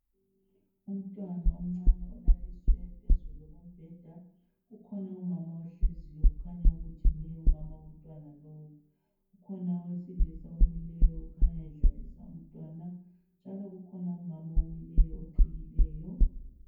Umntwana omncane olaliswe phezulu kombeda. Kukhona umama ohleziyo, kukhanya ukuthi nguye umama wontwana lowu. Kukhona owesilisa omileyo okhanya edlalisa umntwana, njalo kukhona umama omileyo oqhiyileyo.